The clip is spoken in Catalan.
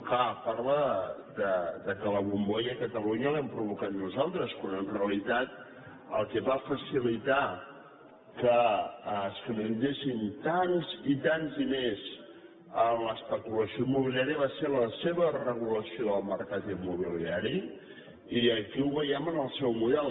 clar parla que la bombolla a catalunya l’hem provocat nosaltres quan en realitat el que va facilitar que es canalitzessin tants i tants diners en l’especulació immobiliària va ser la seva regulació del mercat immobiliari i aquí ho veiem en el seu model